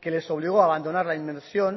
que les obligó abandonar la inmersión